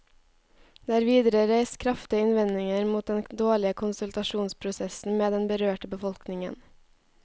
Det er videre reist kraftige innvendinger mot den dårlige konsultasjonsprosessen med den berørte befolkningen.